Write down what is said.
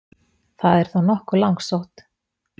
Það er þó nokkuð langsótt.